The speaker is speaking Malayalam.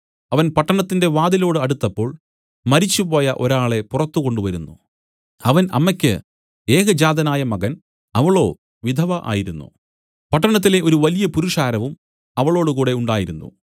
അവൻ പട്ടണത്തിന്റെ വാതിലോടു അടുത്തപ്പോൾ മരിച്ചുപോയ ഒരാളെ പുറത്തു കൊണ്ടുവരുന്നു അവൻ അമ്മയ്ക്ക് ഏകജാതനായ മകൻ അവളോ വിധവ ആയിരുന്നു പട്ടണത്തിലെ ഒരു വലിയ പുരുഷാരവും അവളോടുകൂടെ ഉണ്ടായിരുന്നു